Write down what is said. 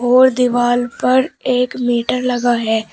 और दीवाल पर एक मीटर लगा है।